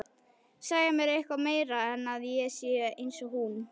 Segja mér eitthvað meira en að ég sé einsog hún.